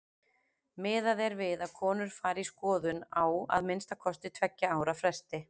Miðað er við að konur fari í skoðun á að minnsta kosti tveggja ára fresti.